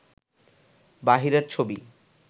বাহিরের ছবি